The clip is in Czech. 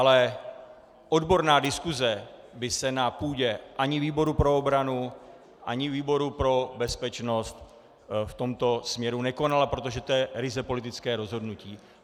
Ale odborná diskuse by se na půdě ani výboru pro obranu, ani výboru pro bezpečnost v tomto směru nekonala, protože to je ryze politické rozhodnutí.